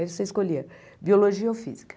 Aí você escolhia biologia ou física.